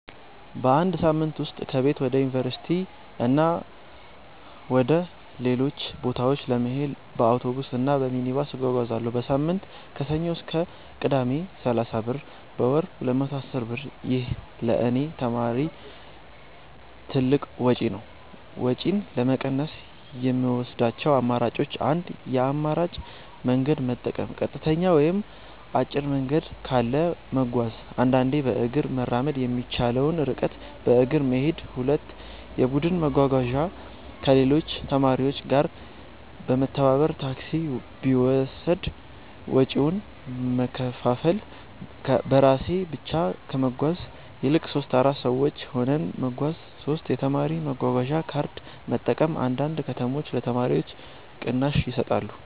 በአንድ ሳምንት ውስጥ ከቤት ወደ ዩኒቨርሲቲ እና ወደ ሌሎች ቦታዎች ለመሄድ በአውቶቡስ እና በሚኒባስ እጓዛለሁ። · በሳምንት (ከሰኞ እስከ ቅዳሜ) = 30 ብር · በወር = 210 ብር ይህ ለእንደኔ ተማሪ ትልቅ ወጪ ነው። ወጪን ለመቀነስ የምወስዳቸው አማራጮች 1. የአማራጭ መንገድ መጠቀም · ቀጥተኛ ወይም አጭር መንገድ ካለ መጓዝ · አንዳንዴ በእግር መራመድ የሚቻለውን ርቀት በእግር መሄድ 2. የቡድን መጓጓዣ · ከሌሎች ተማሪዎች ጋር በመተባበር ታክሲ ቢወሰድ ወጪውን መከፋፈል · በራሴ ብቻ ከመጓዝ ይልቅ 3-4 ሰዎች ሆነን መጓዝ 3. የተማሪ መጓጓዣ ካርድ መጠቀም · አንዳንድ ከተሞች ለተማሪዎች ቅናሽ ይሰጣሉ